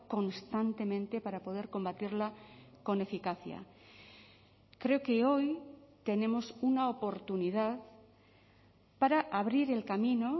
constantemente para poder combatirla con eficacia creo que hoy tenemos una oportunidad para abrir el camino